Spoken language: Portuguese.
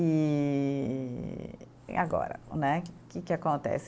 E e agora né, que que acontece?